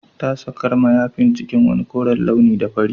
Ta sakar mayafin cikin wani koren launi da fari